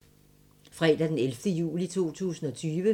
Fredag d. 31. juli 2020